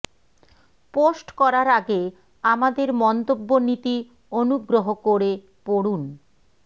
post করার আগে আমাদের মন্তব্য নীতি অনুগ্রহ করে পড়ুন